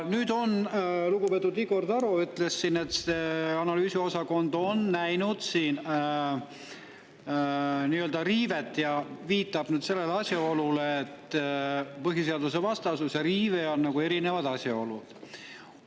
Lugupeetud Igor Taro ütles, et analüüsiosakond on näinud siin nii-öelda riivet, ja viitas asjaolule, et põhiseadusvastasus ja riive on erinevad asjad.